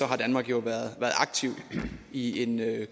har danmark jo været aktiv i en